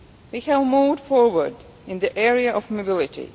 We have moved forward in the area of mobility.